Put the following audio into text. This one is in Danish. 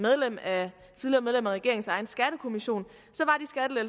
regeringens egen skattekommission